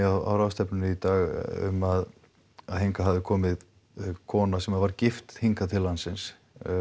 á ráðstefnunni í dag um að hingað hafi komið kona sem var gift hingað til landsins